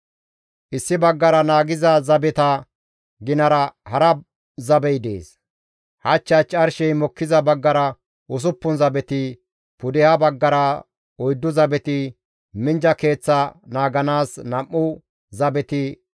Issi baggara naagiza zabeta ginara hara zabey dees; hach hach arshey mokkiza baggara usuppun zabeti, pudeha baggara oyddu zabeti, minjja keeththa naaganaas nam7u zabeti,